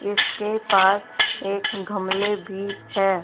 इसके पास एक गमले भी हैं।